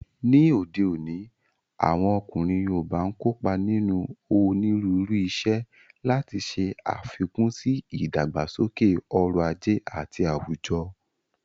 Ní òde òní, àwọn ọkùnrin yoòbá n kópa nínú onírúurú iṣẹ́, láti ṣe àfikún sí ìdàgbàsókè ọrọ̀ ajé àti àwùjọ